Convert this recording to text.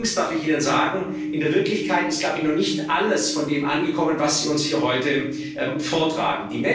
Allerdings darf ich Ihnen sagen In der Wirklichkeit ist, glaube ich, noch nicht alles von dem angekommen, was Sie uns hier heute vortragen.